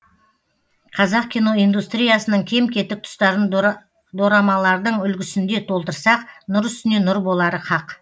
қазақ киноиндустриясының кем кетік тұстарын дорамалардың үлгісінде толтырсақ нұр үстіне нұр болары хақ